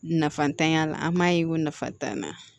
Nafa t'an ya la an b'a ye ko nafa t'an na